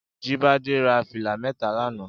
Jibade rà filá mètá lànã